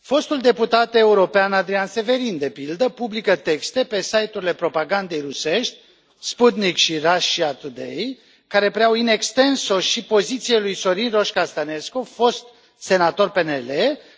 Fostul deputat european Adrian Severin, de pildă, publică texte pe site urile propagandei rusești Sputnik și Russia Today care preiau in extenso și pozițiile lui Sorin Roșca Stănescu, fost senator PNL,